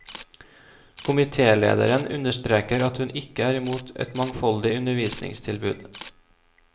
Komitélederen understreker at hun ikke er imot et mangfoldig undervisningstilbud.